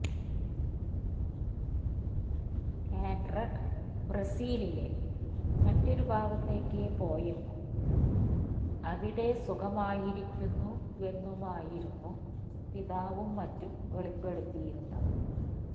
Andrade ബ്രസീലിലെ മറ്റൊരു ഭാഗത്തേക്ക് പോയെന്നും അവിടെ സുഖമായിരിക്കുന്നുവെന്നുമായിരുന്നു പിതാവും മറ്റും വെളിപ്പെടുത്തിയിരുന്നത്